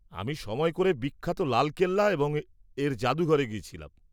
-আমি সময় করে বিখ্যাত লাল কেল্লা এবং এর জাদুঘরে গেছিলাম।